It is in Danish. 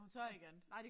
Hun tør ikke andet